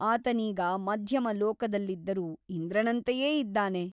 ಆತನೀಗ ಮಧ್ಯಮ ಲೋಕದಲ್ಲಿದ್ದರೂ ಇಂದ್ರನಂತೆಯೇ ಇದ್ದಾನೆ.